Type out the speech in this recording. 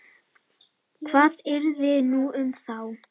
Hvað yrði nú um þá?